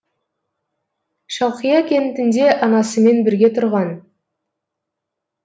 шалқия кентінде анасымен бірге тұрған